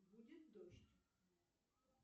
будет дождь